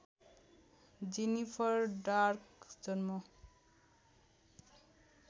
Jennifer dark जन्म